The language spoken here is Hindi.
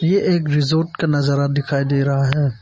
ये एक रिजॉर्ट का नजारा दिखाई दे रहा है।